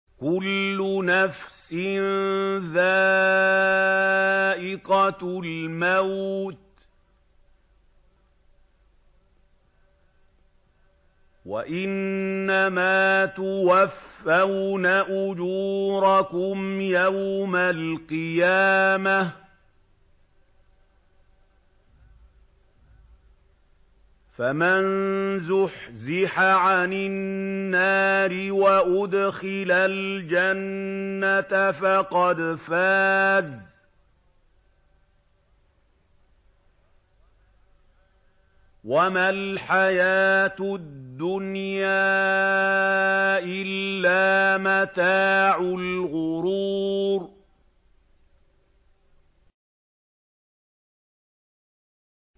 كُلُّ نَفْسٍ ذَائِقَةُ الْمَوْتِ ۗ وَإِنَّمَا تُوَفَّوْنَ أُجُورَكُمْ يَوْمَ الْقِيَامَةِ ۖ فَمَن زُحْزِحَ عَنِ النَّارِ وَأُدْخِلَ الْجَنَّةَ فَقَدْ فَازَ ۗ وَمَا الْحَيَاةُ الدُّنْيَا إِلَّا مَتَاعُ الْغُرُورِ